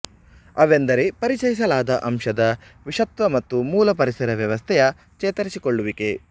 ಅವೆಂದರೆ ಪರಿಚಯಿಸಲಾದ ಅಂಶದ ವಿಷತ್ವ ಮತ್ತು ಮೂಲ ಪರಿಸರ ವ್ಯವಸ್ಥೆಯ ಚೇತರಿಸಿಕೊಳ್ಳುವಿಕೆ